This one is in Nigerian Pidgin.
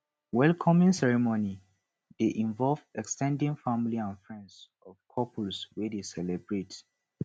welcoming ceremony de involve ex ten ded family and friends of the couples wey de celebrate